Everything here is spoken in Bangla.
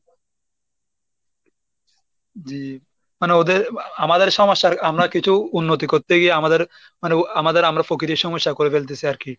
জি, মানে ওদের আমাদের সমস্যার আমরা কিছু উন্নতি করতে গিয়ে আমাদের মানে আমাদের আমরা প্রকৃতির সমস্যা করে ফেলতেছি আর কি।